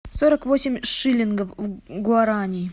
сорок восемь шиллингов в гуарани